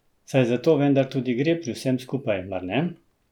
Saj za to vendar tudi gre pri vsem skupaj, mar ne?